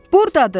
Buradadır!